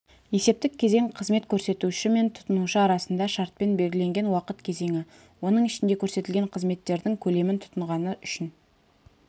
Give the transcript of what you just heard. есептік кезең қызмет көрсетуші мен тұтынушы арасында шартпен белгіленген уақыт кезеңі оның ішінде көрсетілген қызметтердің көлемін тұтынғаны үшін